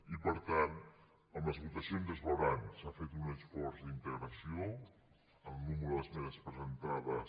i per tant amb les votacions es veurà s’ha fet un esforç d’integració en el nombre d’esmenes presentades